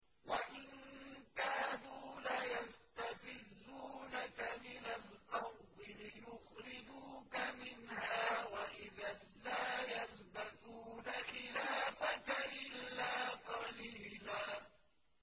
وَإِن كَادُوا لَيَسْتَفِزُّونَكَ مِنَ الْأَرْضِ لِيُخْرِجُوكَ مِنْهَا ۖ وَإِذًا لَّا يَلْبَثُونَ خِلَافَكَ إِلَّا قَلِيلًا